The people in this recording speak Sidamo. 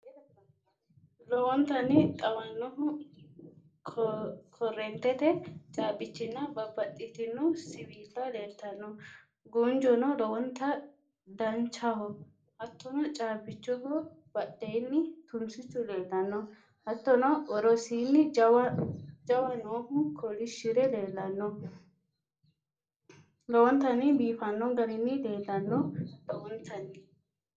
Lowontanni xawannohu korreentete caabbichinna babbaxxitino Siwiilla leeltanno Guunjono lowonta danchaho hattono caabbiichoho badheenni tunsichu leellanno Hattono worosiinni jawa noohu kolishshi're leellanno lowontanni biifanno garinni leellanno lowontanni.